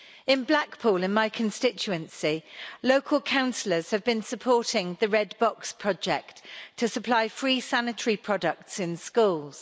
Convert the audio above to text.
In Blackpool, in my constituency, local councillors have been supporting the Red Box Project to supply free sanitary products in schools.